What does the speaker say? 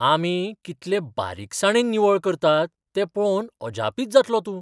आमी कितलें बारीकसणाने निवळ करतात तें पळोवन अजापीत जातलो तूं.